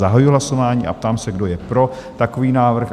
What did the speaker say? Zahajuji hlasování a ptám se, kdo je pro takový návrh?